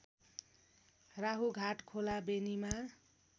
Rahughat Khola बेनीमा